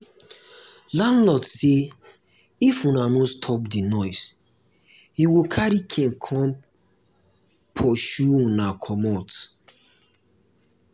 landlord say if una no stop the noise he go carry cane come come pursue una comot